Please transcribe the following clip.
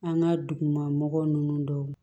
An ka dugu ma mɔgɔ ninnu dɔw